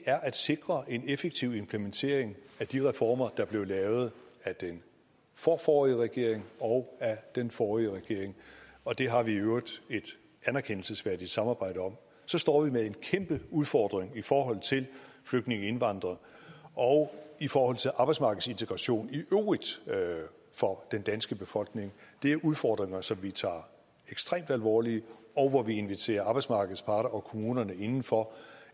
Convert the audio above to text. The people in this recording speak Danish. er at sikre en effektiv implementering af de reformer der blev lavet af den forforrige regering og af den forrige regering og det har vi i øvrigt et anerkendelsesværdigt samarbejde om så står vi med en kæmpe udfordring i forhold til flygtninge indvandrere og i forhold til arbejdsmarkedsintegration i øvrigt for den danske befolkning det er udfordringer som vi tager ekstremt alvorligt og hvor vi inviterer arbejdsmarkedets parter og kommunerne indenfor